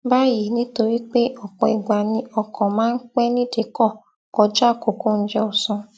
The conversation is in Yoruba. báyìí nítorí pé òpò ìgbà ni ọkò máa ń pé nídìíkò kọjá àkókò oúnjẹ òsán